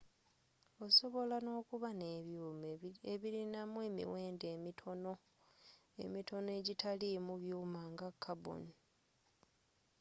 osobola n'okuba n'ebyuuma ebirinamu emiwendo emitono egitalimu byuuma nga carbon